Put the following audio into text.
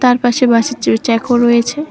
আর পাশে বাঁশের চে চেকও রয়েছে।